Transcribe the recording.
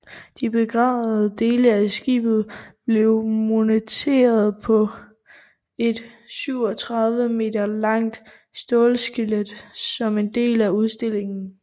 De bevarede dele af skibet blev monteret på et 37 m langt stålskelet som en del af udstillingen